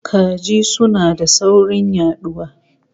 Kaji suna da saurin yaduwa